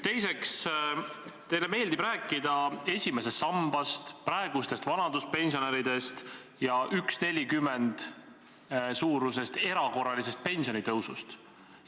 Teiseks, teile meeldib rääkida esimesest sambast, praegustest vanaduspensionäridest ja 1,40 euro suurusest erakorralisest pensionitõusust.